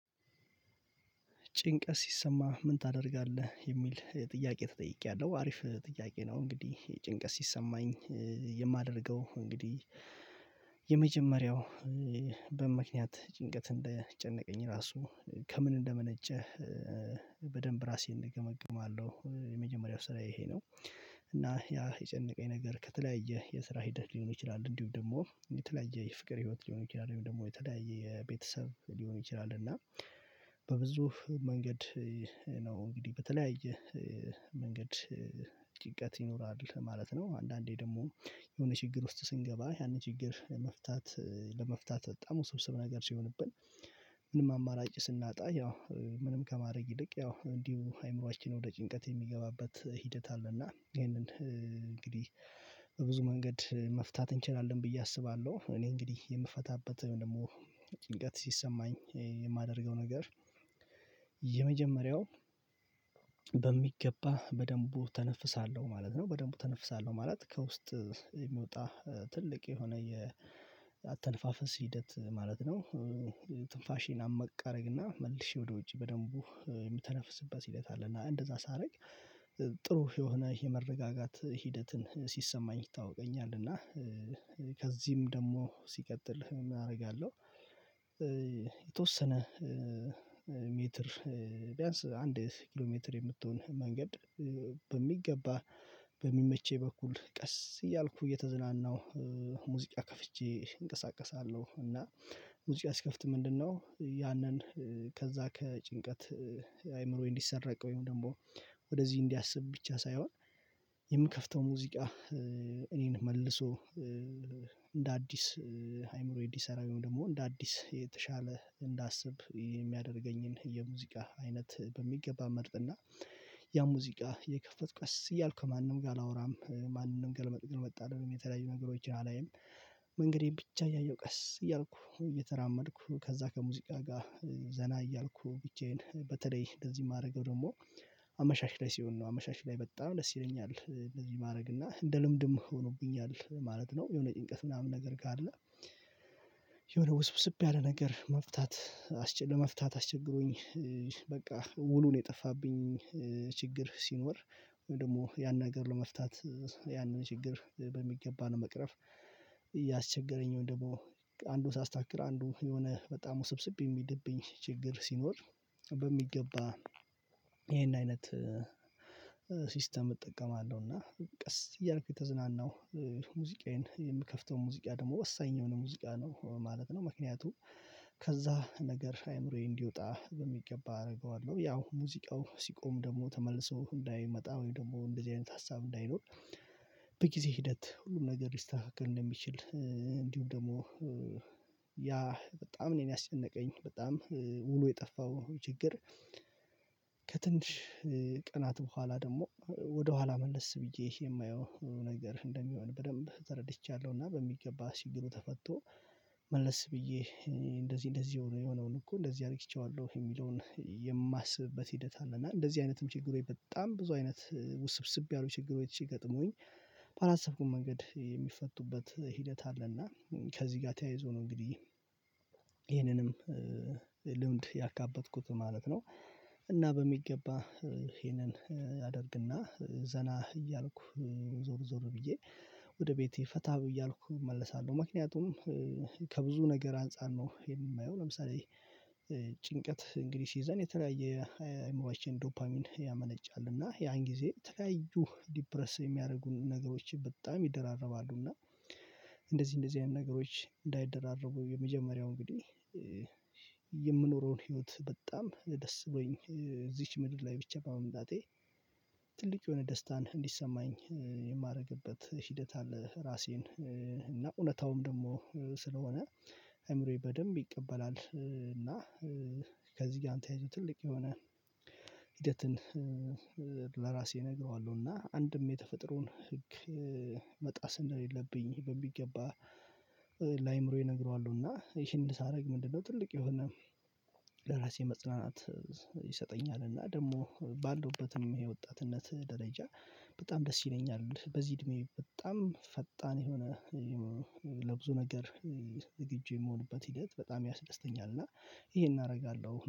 ጭንቀት ሲሰማ ምን ታደርጋለህ የሚል ጥያቄ ተጠይቄያለሁ አሪፍ ጥያቄ ነው። እንግዲህ የጭንቀት ሲሰማኝ የማደርገው እንግዲህ የመጀመሪያው በምክንያት ጭንቀት እንደጨነቀኝ ራሱ ከምን እንደመነጨህ በደንብ ራሴን እገመግማለሁ የመጀመሪያው ስራዬ ይሄ ነው። እና ያ የጨነቀኝ ነገር ከተለያየ የስራ ሂደት ሊሆን ይችላል እንዲሁም ደግሞ የተለያየ የፍቅር ህይወት ሊሆን ይችላል ወይም ደግሞ የተለያየ የቤተሰብ ሊሆን ይችላል እና በብዙ መንገድ ነው እንግዲህ በተለያየ መንገድ ጭንቀት ይኖራል ማለት ነው። አንዳንዴ ደግሞ የሆነ ችግር ውስጥ ስንገባ ያንን ችግር መፍታት ለመፍታት በጣም ውስብስብ ነገር ሲሆንብን። ምንም አማራጭ ስናጣ ያው ምንም ከማድረግ ይልቅ ያው እንዲሁ አይምሮአችን ወደ ጭንቀት የሚገባበት ሂደት አለና ይሄንን እንግዲህ በብዙ መንገድ መፍታት እንችላለን ብዬ አስባለሁ። እኔ እንግዲህ የምፈታበት ወይም ደግሞ ጭንቀት ሲሰማኝ የማደርገው ነገር የመጀመሪያው በሚገባ በደንቡ እተነፍሳለሁ ማለት ነው። በደንቡ እተነፍሳለሁ ማለት ከውስጥ የሚወጣ ትልቅ የሆነ የአተንፋፈስ ሂደት ማለት ነው። ትንፋሼን አምቅ አደረግና መልሼ ወደ ውጪ በደንቡ የምተነፍስበት ሲለት አለና እንደዛ ሳደርግ ጥሩ የሆነ የመረጋጋት ሂደትን ሲሰማኝ ይታወቀኛል። እና ከዚህም ደግሞ ሲቀጥል እናደርጋለሁ የተወሰነ ቢያንስ አንድ ኪሎ ሜትር የምትሆን መንገድ በሚገባ በሚመቸኝ በኩል ቀስ እያልኩ እየተዝናናሁ ሙዚቃ ከፍቼ እንቀሳቀሳለሁ። እና ሙዚቃ ስከፍት ምንድነው? ያንን ከዛ ከጭንቀት አይምሮዬ እንዲሰራ ወይም ደግሞ እንዲያስብ ብቻ ሳይሆን የምከፍተው ሙዚቃ እኔን መልሶ እንደ አዲስ አይምሮዬ እንዲሰራ ደግሞ እንደ አዲስ የተሻለ እንዳስብ የሚያደርገኝን የሙዚቃ አይነት በሚገባ መርጥና ያ ሙዚቃ የከፈት ቀስ እያልኩ ማንም ጋር አላወራም ማንም ገልመጥ ገልመጥ አይደለም። የተለያዩ ነገሮችን አላየም መንገዴን ብቻ እያየሁ ቀስ እያልኩ እየተራመድኩ ከዛ ከሙዚቃ ጋር ዘና እያልኩ ብቻዬን በተለይ እንደዚህ የማደርገው ደግሞ አመሻሽ ላይ ሲሆን ነው። አመሻሽ ላይ በጣም ደስ ይለኛል እንደዚህ ማድረግ እና እንደ ልምድም ሆኖብኛል ማለት ነው። የሆነ ጭንቀት ምናምን ነገር ጋር አለ። የሆነ ውስብስብ ያለ ነገር መፍታት ለመፍታት አስቸግሮኝ በቃ ውሉን የጠፋብኝ ችግር ሲኖር። ወይም ደግሞ ያን ነገር ለመፍታት ያንን ችግር በሚገባ ነው መቅረፍ። እያስቸገረኝ ወይም ደግሞ አንዱን ሳስተካክል አንዱ የሆነ በጣም ውስብስብ የሚድብኝ ችግር ሲኖር በሚገባ ይሄን አይነት ሲስተም እጠቀማለሁ። እና ቀስ እያልኩ የተዝናናው ሙዚቃዬን የምከፍተው ሙዚቃ ደግሞ ወሳኝ የሆነ ሙዚቃ ነው ማለት ነው። ምክንያቱም ከዛ ነገር አይምሮዬ እንዲወጣ በሚገባ አደርገዋለሁ ያው ሙዚቃው ሲቆም ደግሞ ተመልሶ እንዳይመጣ ወይ ደግሞ እንደዚህ አይነት ሀሳብ እንዳይኖር። ሂደት ሁሉም ነገር ሊስተካከል እንደሚችል እንዲሁ ደግሞ ያ በጣም እኔን ያስጨነቀኝ በጣም ሙሉ የጠፋው ችግር። ከትንሽ ቅናት በኋላ ደግሞ ወደኋላ መልስ ብዬ የማየው ነገር እንደሚሆን በደንብ ተረድቻለሁና በሚገባ ሲግሉ ተፈቶ መለስ ብዬ እንደዚህ እንደዚህ የሆነውን እኮ እንደዚህ አድርጌዋለሁ የሚለውን የማስብበት ሂደት አለ። እና እንደዚህ አይነትም ችግር በጣም ብዙ አይነት ውስብስብ ያሉ ችግር ቤት ሲገጥሙኝ። ባላሰብኩም መንገድ የሚፈቱበት ሂደት አለና ከዚህ ጋር ተያይዞ ነው እንግዲህ ይህንንም ልምድ ያካበትኩት ማለት ነው። እና በሚገባ ይህንን አደርግና ዘና እያልኩ ዞር ዞር ብዬ ወደ ቤቴ ፈታ እያልኩ እመልሳለሁ። ምክንያቱም ከብዙ ነገር አንፃር ነው የማየው። ለምሳሌ ጭንቀት ሲይዘን የተለያየ አይመባችን ዶፓሚን ያመነጫል እና ያን ጊዜ የተለያዩ ዲፕረስ የሚያደርጉን ነገሮች በጣም ይደራረባሉ። እና እንደዚህ እንደዚህ አይነት ነገሮች እንዳይደራረቡ የመጀመሪያው እንግዲህ የምኖረውን ህይወት በጣም ደስ ብሎኝ እዚች ምድር ላይ ብቻ በመምጣቴ ትልቅ የሆነ ደስታን እንዲሰማኝ የማደርግበት ሂደት አለ። ራሴን እና እውነታውም ደግሞ ስለሆነ አእምሮዬ በደንብ ይቀበላል። እና ከዚህ ጋር ተያይዞ ትልቅ የሆነ ሂደትን ለራሴ እነግረዋለሁ እና አንድም የተፈጥሮን ህግ መጣስ እንደሌለብኝ በሚገባ ላይምሮዬ እነግረዋለሁና። ይህን ሳረግ ምንድነው? ትልቅ የሆነ ለራሴ መጽናናት ይሰጠኛል። እና ደግሞ ባለውበትም ወጣትነት ደረጃ በጣም ደስ ይለኛል። በዚህ እድሜ በጣም ፈጣን የሆነ ለብዙ ነገር ዝግጁ የምሆንበት ሂደት በጣም ያስደስተኛል። እና ይሄን አደርጋለሁ